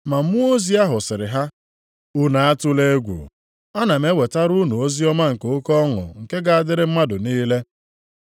Ma mmụọ ozi ahụ sịrị ha, “Unu atụla egwu. Ana m ewetara unu oziọma nke oke ọṅụ nke ga-adịrị mmadụ niile.